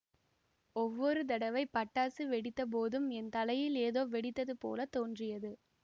ஒவ்வொரு தடவை பட்டாசு வெடித்த போதும் என் தலையில் ஏதோ வெடித்தது போல் தோன்றியது